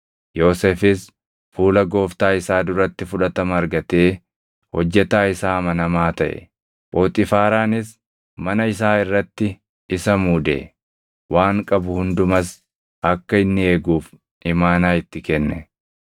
Yoosefis fuula gooftaa isaa duratti fudhatama argatee hojjetaa isaa amanamaa taʼe. Phoxiifaaraanis mana isaa irratti isa muude; waan qabu hundumas akka inni eeguuf imaanaa itti kenne.